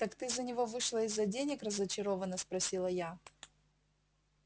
так ты за него вышла из-за денег разочаровано спросила я